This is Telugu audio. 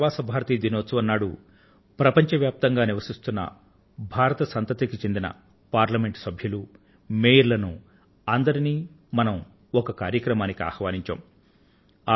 ఈసారి ప్రవాసి భారతీయ దినం నాడు ప్రపంచ వ్యాప్తంగా నివసిస్తున్న భారత సంతతికి చెందిన పార్లమెంట్ సభ్యులను మేయర్ల ను అందరికీ మనం ఒక కార్యక్రమానికి ఆహ్వానించాం